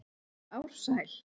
Ársæl